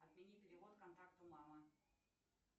отмени перевод контакту мама